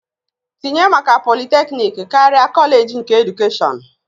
Apply for a Poluthecnic inctead of College of Education